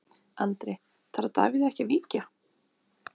Andri: Þarf Davíð ekki að víkja?